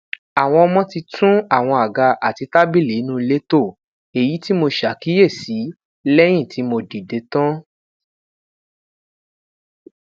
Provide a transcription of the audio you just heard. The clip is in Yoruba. awọn ọmọ ti tun awọn aga ati tabili inu ile to eyi ti mo ṣakiyesi lẹyin ti mo dide tan